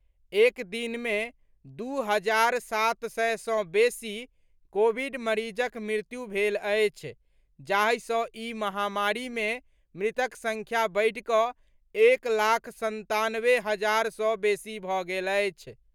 एक दिन मे दू हजार सात सय सँ बेसी कोविड मरीजक मृत्यु भेल अछि जाहि सँ ई महामारी मे मृतक संख्या बढ़िकऽ एक लाख संतानवे हजार सँ बेसी भऽ गेल अछि।